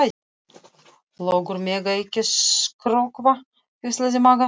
Löggur mega ekki skrökva, hvíslaði Magga.